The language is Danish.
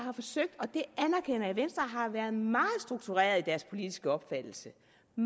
har været meget struktureret i deres politiske opfattelse